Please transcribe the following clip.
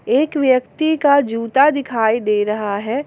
एक व्यक्ति का जूता दिखाई दे रहा है।